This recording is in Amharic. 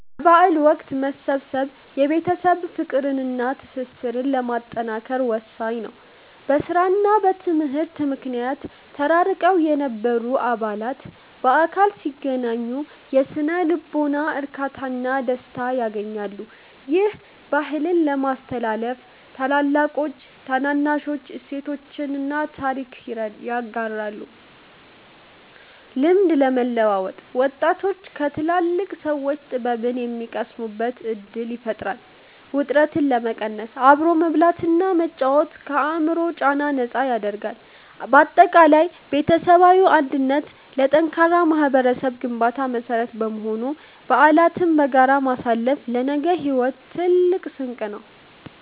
በበዓል ወቅት መሰብሰብ የቤተሰብን ፍቅርና ትስስር ለማጠናከር ወሳኝ ነው። በሥራና በትምህርት ምክንያት ተራርቀው የነበሩ አባላት በአካል ሲገናኙ የሥነ-ልቦና እርካታና ደስታን ያገኛሉ። ይህም፦ -ባህልን ለማስተላለፍ፦ ታላላቆች ለታናናሾች እሴቶችንና ታሪክን ያጋራሉ። -ልምድ ለመለዋወጥ፦ ወጣቶች ከትላልቅ ሰዎች ጥበብን የሚቀስሙበት ዕድል ይፈጥራል። -ውጥረትን ለመቀነስ፦ አብሮ መብላትና መጫወት ከአእምሮ ጫና ነፃ ያደርጋል። ባጠቃላይ ቤተሰባዊ አንድነት ለጠንካራ ማኅበረሰብ ግንባታ መሠረት በመሆኑ፣ በዓላትን በጋራ ማሳለፍ ለነገው ሕይወት ትልቅ ስንቅ ነው።